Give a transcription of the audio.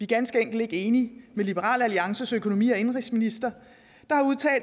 ganske enkelt ikke enige med liberal alliances økonomi og indenrigsminister